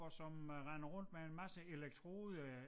Og som øh render rundt med en masse elektroder